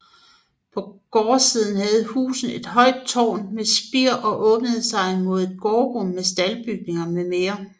På gårdsiden havde huset et højt tårn med spir og åbnede sig mod et gårdsrum med staldbygning mm